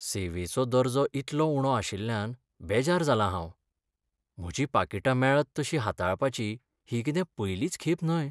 सेवेचो दर्जो इतलो उणो आशिल्ल्यान बेजार जालां हांव. म्हजी पाकिटां मेळत तशीं हाताळपाची ही कितें पयलीच खेप न्हय.